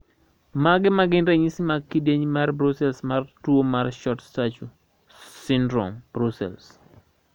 Mage magin ranyisi mag kidieny mar Brussels mar tuo mar Short stature syndrome, Brussels?